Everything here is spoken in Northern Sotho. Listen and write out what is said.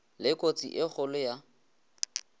le kotsi e kgolo ya